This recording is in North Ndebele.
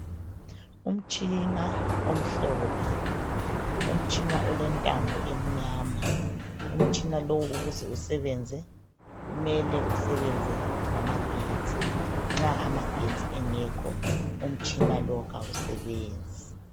Umtshina omhlophe olentambo emnyama, ukuze usebenze kumele usebenze ngama getsi nxa amagetsi engekho umtshina lo kawusebenzi.